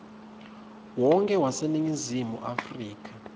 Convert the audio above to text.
wonkhe waseningizimu afrika